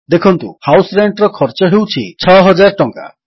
ଦେଖନ୍ତୁ ହାଉସ Rentର ଖର୍ଚ୍ଚ ହେଉଛି 6000 ଟଙ୍କା